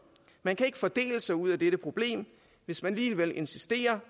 man kan ikke fordele sig ud af dette problem hvis man alligevel insisterer